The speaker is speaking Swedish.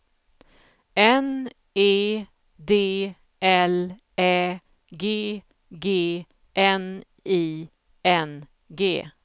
N E D L Ä G G N I N G